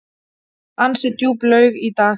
Ansi djúp laug í dag.